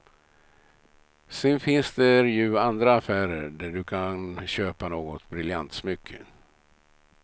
Sedan finns där ju andra affärer där du kan köpa något briljantsmycke.